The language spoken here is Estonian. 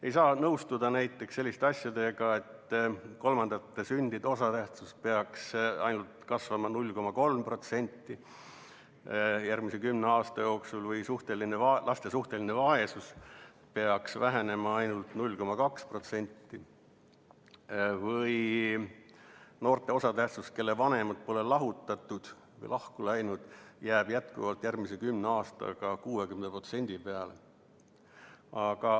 Ei saa nõustuda näiteks selliste asjadega, et kolmandate sündide osatähtsus peaks kasvama ainult 0,3% järgmise kümne aasta jooksul või et laste suhteline vaesus peaks vähenema ainult 0,2% või et noorte osatähtsus, kelle vanemad pole lahutatud või lahku läinud, jääb järgmise kümne aastaga jätkuvalt 60% peale.